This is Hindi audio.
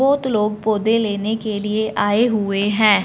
बहोत लोग पौधे लेने के लिए आए हुए है।